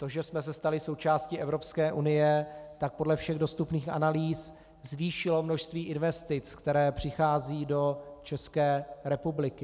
To, že jsme se stali součástí Evropské unie, tak podle všech dostupných analýz zvýšilo množství investic, které přicházejí do České republiky.